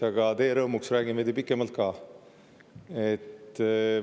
Aga teie rõõmuks räägin veidi pikemalt ka.